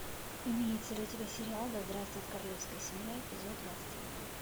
имеется ли у тебя сериал да здравствует королевская семья эпизод двадцать один